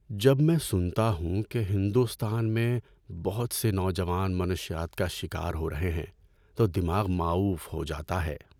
جب میں سنتا ہوں کہ ہندوستان میں بہت سے نوجوان منشیات کا شکار ہو رہے ہیں تو دماغ ماؤف ہو جاتا ہے۔